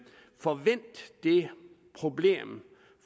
får vendt det problem